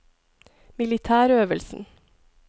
militærøvelsen